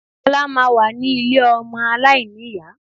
Ọlá máa wà ní ilé ọmọ aláìníyá